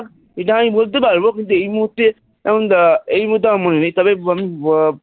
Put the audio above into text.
এইটা আমি বলতে পারব কিন্তু এই মুহুর্তে এখন এই মুহুর্তে আমার মনে নেই তবে আমি আহ